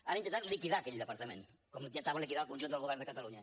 han intentat liquidar aquell departament com intentaven liquidar el conjunt del govern de catalunya